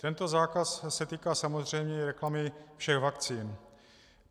Tento zákaz se týká samozřejmě i reklamy všech vakcín.